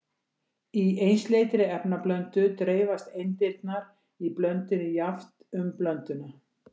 Í einsleitri efnablöndu dreifast eindirnar í blöndunni jafnt um blönduna.